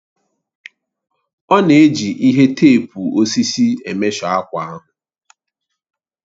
Ọ na-eji ihe teepu osisi emeshọ akwa ahụ